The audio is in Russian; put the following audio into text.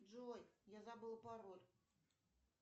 джой я забыла пароль